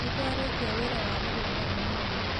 Nĩtwarĩkia wĩra wa mũgũnda ũmũthĩ